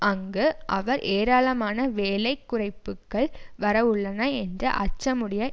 அங்கு அவர் ஏராளமான வேலை குறைப்புக்கள் வரவுள்ளன என்ற அச்சமுடைய